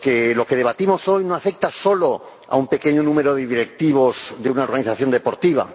Lo que debatimos hoy no afecta solo a un pequeño número de directivos de una organización deportiva.